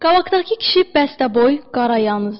Qabaqdakı kişi bəstdəboy, qarayannızdır.